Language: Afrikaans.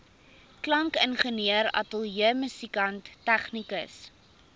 klankingenieur ateljeemusikant tegnikus